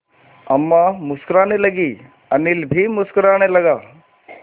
अम्मा मुस्कराने लगीं अनिल भी मुस्कराने लगा